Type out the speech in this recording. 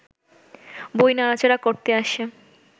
বই নাড়া-চাড়া করতে আসে